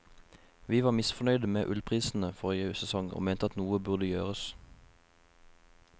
Vi var misfornøyde med ullprisene forrige sesong og mente at noe burde gjøres.